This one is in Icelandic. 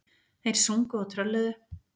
Þeir sungu og trölluðu.